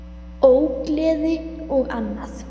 Ógleði og annað.